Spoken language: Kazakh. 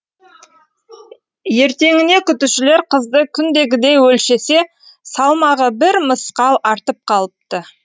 ертеңіне күтушілер қызды күндегідей өлшесе салмағы бір мысқал артып қалыпты